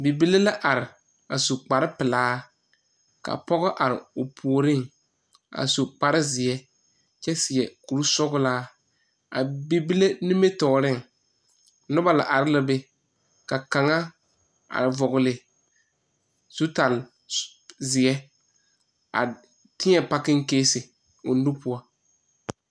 Bibile la are a su kparepelaa ka pɔge are o puoreŋ a su kparezeɛ kyɛ seɛ kpuresɔglaa. A bibile nimitɔɔreŋ noba arɛɛ la ka kaŋ vɔgle zutalaazeɛ kyɛ teɛ pakiŋkeesi o nu pʋɔ.